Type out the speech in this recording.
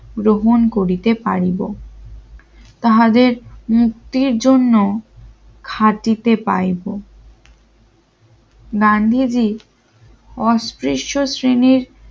গ্রহণ করিতে পারিব তাহাদের মুক্তির জন্য খাটিতে পাইবো গান্ধীজি অস্পৃশ্য শ্রেণ